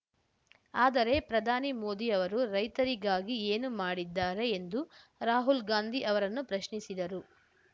ಆದರೆ ಪ್ರಧಾನಿ ಮೋದಿ ಅವರು ರೈತರಿಗಾಗಿ ಏನು ಮಾಡಿದ್ದಾರೆ ಎಂದು ರಾಹುಲ್ ಗಾಂಧಿ ಅವರನ್ನು ಪ್ರಶ್ನಿಸಿದರು